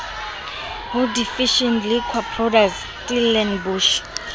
ho division liquor products stellenbosch